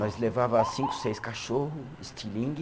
Nós levava cinco, seis cachorro, estilingue,